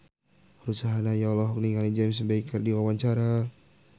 Ruth Sahanaya olohok ningali James Bay keur diwawancara